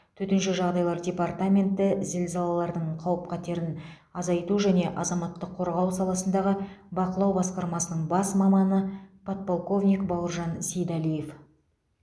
төтенше жағдайлар департаменті зілзалалардың қауіп қатерін азайту және азаматтық қорғау саласындағы бақылау басқармасының бас маманы подполковник бауыржан сейдалиев